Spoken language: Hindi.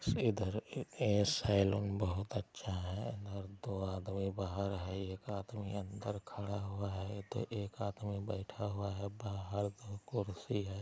इधर ए ए सैलून बहोत अच्छा हेय और दो आदमी बाहर हेय एक आदमी अंदर खड़ा हुआ हेय तो एक आदमी बैठा हुआ हेय बाहर मे कुर्सी हेय।